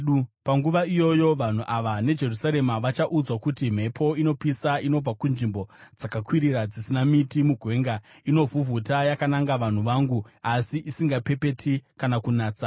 Panguva iyoyo vanhu ava neJerusarema vachaudzwa kuti, “Mhepo inopisa inobva kunzvimbo dzakakwirira dzisina miti mugwenga inovhuvhuta yakananga vanhu vangu, asi isingapepeti kana kunatsa;